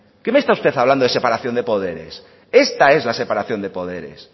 qué me está usted hablando de separación de poderes esta es la separación de poderes